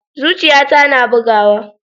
Zuciyata na bugawa.